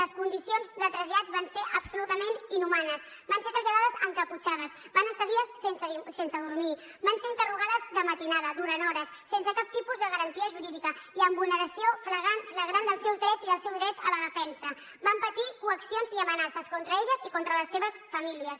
les condicions de trasllat van ser absolutament inhumanes van ser traslladades encaputxades van estar dies sense dormir van ser interrogades de matinada durant hores sense cap tipus de garantia jurídica i amb vulneració flagrant dels seus drets i del seu dret a la defensa van patir coaccions i amenaces contra elles i contra les seves famílies